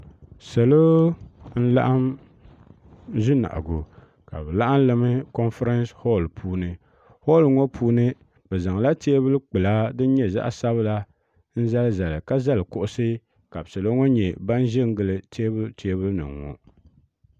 saloo n laɣim ʒɛ nahigu ka be laɣimlila konƒɛransi holini holini ŋɔ puuni bɛ zaŋ la tɛbuli gbala din nyɛ zaɣ' sabila n zalizali ka zali kuɣisi ka salu ŋɔ nyɛ ban kon gili tɛbuli nim ŋɔ